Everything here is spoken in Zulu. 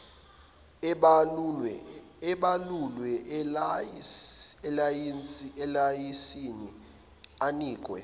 ebalulwe elayisensini anikwe